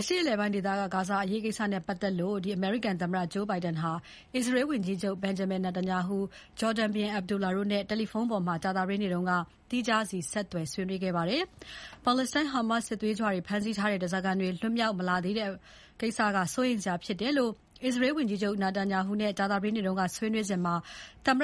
အရှေ့အလယ်ပိုင်း ဂါဇာဒေသအရေးကို အမေရိကန်သမ္မတ Joe Biden က အစ္စရေးဝန်ကြီးချုပ် Benjamin Netanyahu၊ ဂျော်ဒန်ဘုရင် Abdullah တို့နဲ့ တယ်လီဖုန်းပေါ်မှာ သီးခြားစီ ဆက်သွယ် ဆွေးနွေးခဲ့ပါတယ်။ ပါလက်စတိုင်း Hamas စစ်သွေးကြွတွေ ဖမ်းဆီးထားတဲ့ ဓါးစာခံတွေ လွတ်မြောက် မလာသေးတာ စိုးရိမ်စရာဖြစ်တယ်လို့ အစ္စရေးဝန်ကြီးချုပ် Netanyahu နဲ့ ကြာသပတေးနေ့က ဆွေးနွေးစဉ် သမ္မ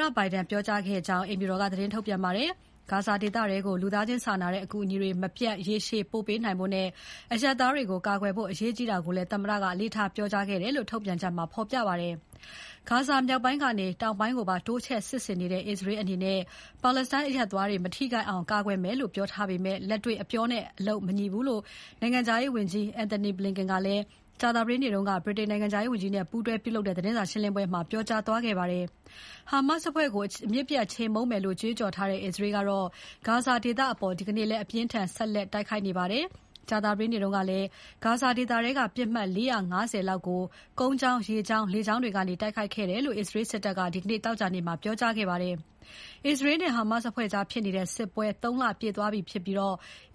တ Biden က ပြောကြားခဲ့ကြောင်း အိမ်ဖြူတော်က သတင်းထုတ်ပြန်ပါတယ်။ ဂါဇာဒေသထဲကို လူသားချင်းစာနာတဲ့အကူအညီတွေ မပြတ် ရေရှည် ပို့ပေးနိုင်ဖို့နဲ့ အရပ်သားတွေကို ကာကွယ်ဖို့ အရေးကြီးတာကိုလည်း သမ္မတက အလေးထားပြောကြားခဲ့တယ်လို့ ထုတ်ပြန်ချက်မှာ ဖော်ပြပါတယ်။ ဂါဇာမြောက်ပိုင်းကနေ တောင်ပိုင်းကိုပါ တိုးချဲ့စစ်ဆင်နေတဲ့ အစ္စရေးအနေနဲ့ ပါလက်စတိုင်းအရပ်သားတွေ မထိခိုက်အောင် ကာကွယ်မယ်လို့ ပြောထားပေမဲ့ လက်တွေ့အပြောနဲ့ အလုပ် မညီဘူးလို့ နိုင်ငံခြားရေးဝန်ကြီး Antony Blinken ကလည်း ကြာသပတေးနေ့က ဗြိတိန်နိုင်ငံခြားရေးဝန်ကြီးနဲ့ပူးတွဲပြုလုပ်တဲ့ သတင်းစာရှင်းပွဲမှာ ပြောကြားသွားခဲ့ပါတယ်။ Hamas အဖွဲ့ကို အမြစ်ပြတ်ချေမှုန်းသွားမယ်လို့ ကြွေးကြော်ထားတဲ့ အစ္စရေးက ဂါဇာဒေသအပေါ် ဒီနေ့လည်း အပြင်းအထန် ဆက်လက် တိုက်ခိုက်နေပါတယ်။ ကြာသပတေးနေ့ကလည်း ဂါဇာဒေသထဲက ပစ်မှတ် ၄၅၀ လောက်ကို ကုန်းကြောင်း၊ ရေကြောင်း၊ လေကြောင်းတွေကနေ တိုက်ခိုက်ခဲ့တယ်လို့ အစ္စရေးစစ်တပ်က ဒီနေ့ သောကြာနေ့မှာ ပြောကြားခဲ့ပါတယ်။ အစ္စရေးနဲ့ Hamas အဖွဲ့ကြားဖြစ်နေတဲ့ စစ်ပွဲ ၃ လပြည့်သွားပြီဖြစ်ပြီး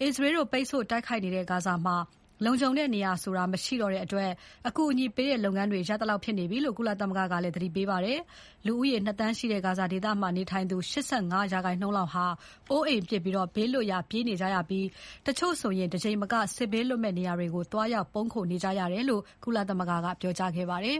အစ္စရေးတို့ပိတ်ဆို့ တိုက်ခိုက်နေတဲ့ ဂါဇာမှာ လုံခြုံတဲ့နေရာဆိုတာ မရှိတော့တဲ့အတွက် အကူအညီပေးတဲ့လုပ်ငန်းတွေ ရပ်သလောက်ဖြစ်နေပြီလို့ ကုလသမဂ္ဂက သတိပေးခဲ့ပါတယ်။ လူဦးရေ ၂ သန်းရှိတဲ့ ဂါဇာဒေသမှာနေသူ ၈၅ ရာခိုင်နှုန်းလောက် အိုးအိမ်ပစ် ဘေးလွတ်ရာ ပြေးနေကြရပြီး တချို့ဆို တကြိမ်မက စစ်ဘေးလွတ်မယ့်နေရာတွေကို သွားရောက် ပုန်းခိုနေကြရတယ်လို့ ကုလသမဂ္ဂက ပြောကြားခဲ့ပါတယ်